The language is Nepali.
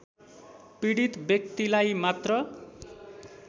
पीडित व्यक्तिलाई मात्र